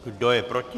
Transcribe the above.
Kdo je proti?